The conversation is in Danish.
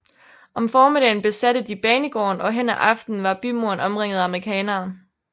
Om formiddagen besatte de banegården og hen ad aften var bymuren omringet af amerikanerne